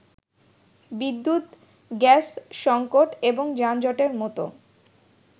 বিদ্যুৎ, গ্যাস সংকট এবং যানজটের মত